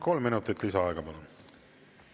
Kolm minutit lisaaega, palun!